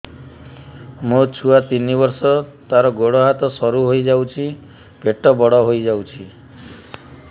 ମୋ ଛୁଆ ତିନି ବର୍ଷ ତାର ଗୋଡ ହାତ ସରୁ ହୋଇଯାଉଛି ପେଟ ବଡ ହୋଇ ଯାଉଛି